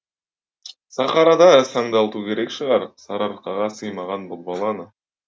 сахарада сандалту керек шығар сарыарқаға сыймаған бұл баланы